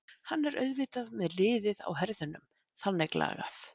Hann er auðvitað með liðið á herðunum þannig lagað.